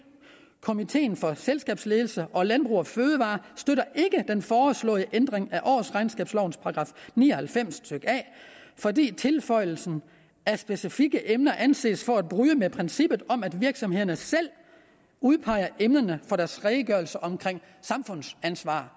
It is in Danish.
komiteen for selskabsledelse og landbrug fødevarer støtter ikke den foreslåede ændring af årsregnskabslovens § ni og halvfems a fordi tilføjelsen af specifikke emner anses for at bryde med princippet om at virksomhederne selv udpeger emnerne for deres redegørelse om samfundsansvar